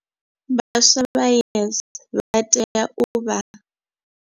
Vhaswa vha YES vha tea u vha.